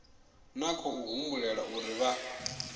na khou humbulela uri vha